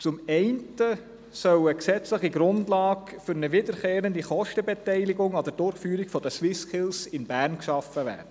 Zum einen soll eine gesetzliche Grundlage für eine wiederkehrende Kostenbeteiligung an der Durchführung der SwissSkills in Bern geschaffen werden.